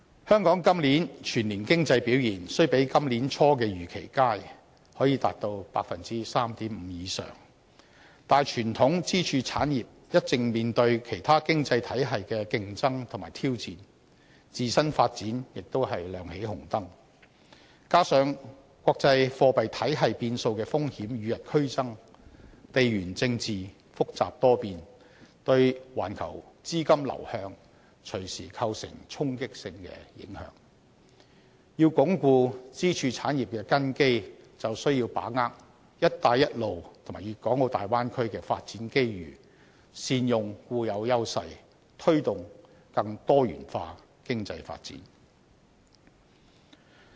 香港今年全年經濟表現雖比今年年初的預期為佳，增長率達到 3.5% 以上，但傳統支柱產業一直面對其他經濟體系的競爭和挑戰，自身發展也亮起紅燈，加上國際貨幣體系變數的風險與日俱增，地緣政治複雜多變，對環球資金流向隨時構成衝擊性的影響，要鞏固支柱產業的根基，便需要把握"一帶一路"和大灣區的發展機遇，善用固有優勢，推動更多元化經濟發展。